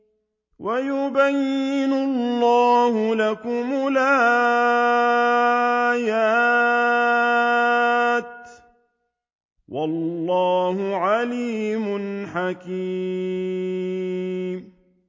وَيُبَيِّنُ اللَّهُ لَكُمُ الْآيَاتِ ۚ وَاللَّهُ عَلِيمٌ حَكِيمٌ